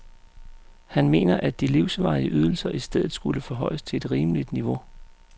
Han mener, at de livsvarige ydelser i stedet skulle forhøjes til et rimeligt niveau.